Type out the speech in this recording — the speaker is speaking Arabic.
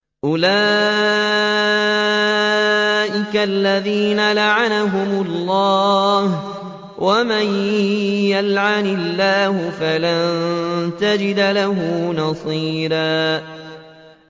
أُولَٰئِكَ الَّذِينَ لَعَنَهُمُ اللَّهُ ۖ وَمَن يَلْعَنِ اللَّهُ فَلَن تَجِدَ لَهُ نَصِيرًا